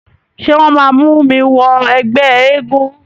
Ṣé wọ́n máa mú mi wọ ẹgbẹ́ eégún?